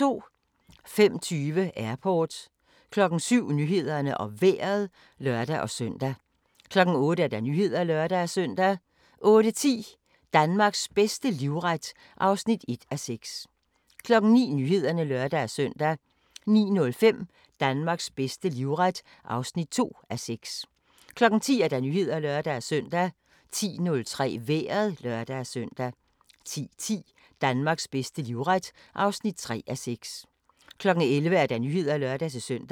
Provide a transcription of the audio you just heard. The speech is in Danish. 05:20: Airport 07:00: Nyhederne og Vejret (lør-søn) 08:00: Nyhederne (lør-søn) 08:10: Danmarks bedste livret (1:6) 09:00: Nyhederne (lør-søn) 09:05: Danmarks bedste livret (2:6) 10:00: Nyhederne (lør-søn) 10:03: Vejret (lør-søn) 10:10: Danmarks bedste livret (3:6) 11:00: Nyhederne (lør-søn)